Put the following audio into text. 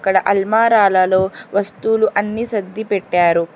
ఇక్కడ అల్మారాలలో వస్తువులు అన్ని సర్ది పెట్టారు.